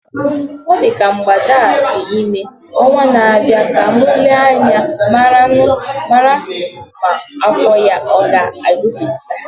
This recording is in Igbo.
Ọ dị ka mgbada a dị ime, ọnwa na abịa ka mụ Nee anya marụ ma afọ ya aga egosipụta